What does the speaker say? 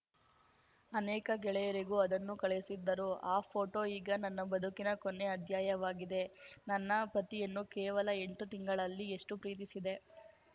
ಅನೇಕ ಗೆಳೆಯರಿಗೂ ಅದನ್ನು ಕಳುಹಿಸಿದ್ದರು ಆ ಪೋಟೋ ಈಗ ನನ್ನ ಬದುಕಿನ ಕೊನೇ ಅಧ್ಯಾಯವಾಗಿದೆ ನನ್ನ ಪತಿಯನ್ನು ಕೇವಲ ಎಂಟು ತಿಂಗಳಲ್ಲಿ ಎಷ್ಟುಪ್ರೀತಿಸಿದೆ